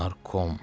Narkom.